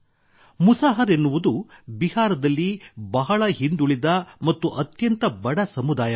ಮುಸಾಹರ್ ಎನ್ನುವುದು ಬಿಹಾರದಲ್ಲಿ ಬಹಳ ಹಿಂದುಳಿದ ಮತ್ತು ಅತ್ಯಂತ ಬಡ ಸಮುದಾಯವಾಗಿದೆ